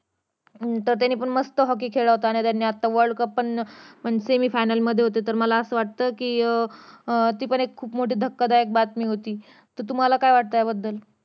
त्याने पण मस्त hockey खेळला होता आणि त्याने आत्ता world cup पण अं semi final मध्ये होते तर मला असं वाटतं कि अं ती पण एक मोठी धक्कादायक बातमी होती तुम्हाला काय वाटतं या बद्दल